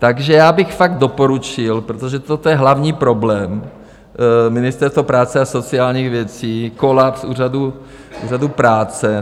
Takže já bych fakt doporučil, protože toto je hlavní problém Ministerstva práce a sociálních věcí, kolaps úřadů práce.